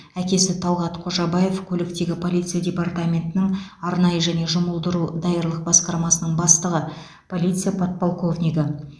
әкесі талғат қожабаев көліктегі полиция департаментінің арнайы және жұмылдыру даярлық басқармасының бастығы полиция подполковнигі